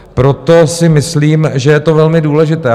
Proto si myslím, že je to velmi důležité.